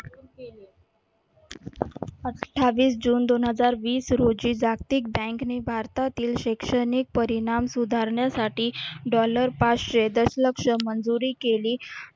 अठ्ठावीस जून दोन हजार वीस रोजी जागतिक bank ने भारतातील शैक्षणिक परिणाम सुधारण्यासाठी dollar पाचशे दशलक्ष मंजूरी केली.